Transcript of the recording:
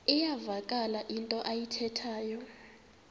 iyavakala into ayithethayo